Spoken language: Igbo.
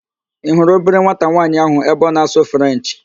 Ị hurụ obere nwata nwaanyị ahụ ebe ọ na-asụ Frenchị?